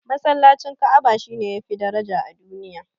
Masallacin Ka'aba shine yafi daraja a duniya